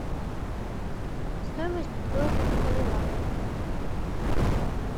стоимость биткоина на боливар